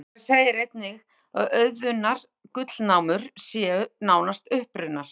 Í sama svari segir einnig að auðunnar gullnámur séu nánast uppurnar.